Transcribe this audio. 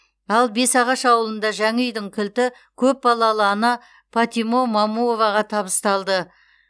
ал бесағаш ауылында жаңа үйдің кілті көп балалы ана патима момуоваға табысталды